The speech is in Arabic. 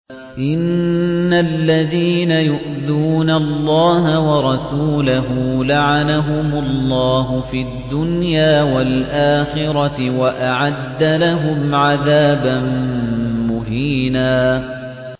إِنَّ الَّذِينَ يُؤْذُونَ اللَّهَ وَرَسُولَهُ لَعَنَهُمُ اللَّهُ فِي الدُّنْيَا وَالْآخِرَةِ وَأَعَدَّ لَهُمْ عَذَابًا مُّهِينًا